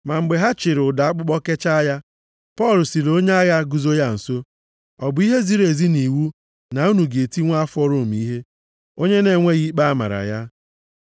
Ma mgbe ha chịịrị ụdọ akpụkpọ kechaa ya, Pọl sịrị onye agha guzo ya nso, “Ọ bụ ihe ziri ezi nʼiwu na unu ga-eti nwa afọ Rom ihe, onye na-enweghị ikpe a mara ya?”